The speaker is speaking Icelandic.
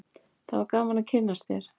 það var gaman að kynnast þér